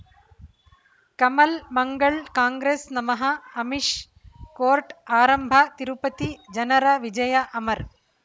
ಕಮಲ್ ಮಂಗಳ್ ಕಾಂಗ್ರೆಸ್ ನಮಃ ಅಮಿಷ್ ಕೋರ್ಟ್ ಆರಂಭ ತಿರುಪತಿ ಜನರ ವಿಜಯ ಅಮರ್